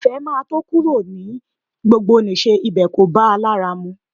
Ìfẹ́ máa tó kúrò ní gbogbonìṣe, ibẹ̀ kò bá a lára mu